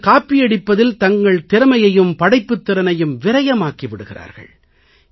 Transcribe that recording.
சிலர் காப்பியடிப்பதில் தங்கள் திறமையையும் படைப்பாற்றலையும் விரயமாக்கி விடுகிறார்கள்